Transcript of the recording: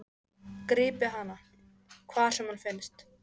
Grípið hana, hvar sem hún finnst!